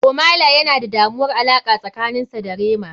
Ohmay lay yana da damuwar alaqa tsakanin sa da rema.